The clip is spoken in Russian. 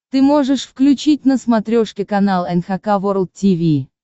ты можешь включить на смотрешке канал эн эйч кей волд ти ви